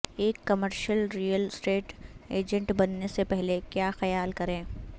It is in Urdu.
ایک کمرشل ریئل اسٹیٹ ایجنٹ بننے سے پہلے کیا خیال کریں